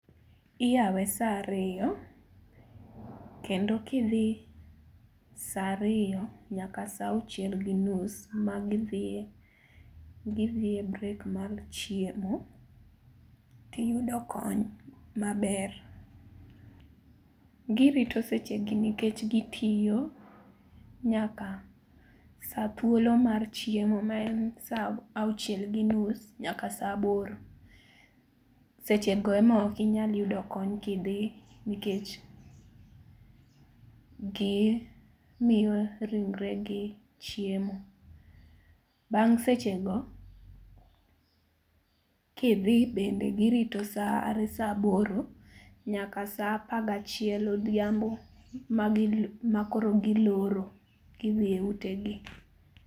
Iyawe saa ario, kendo kidhi saa ario nyaka sauchiel gi nus, magidhi gidhie break mar chiemo tiyudo kony maber. Girito sechegi nikech gitio nyaka saa thuolo mar chiemo maen saauchiel gi nus nyaka saaboro. Sechego emokinyal yudo kony kidhi nikech gimio ringregi chiemo. Bang' sechego kidhi bende girito saa are saaboro nyaka saa apagachiel odhiambo magi makoro giloro gidhie utegi.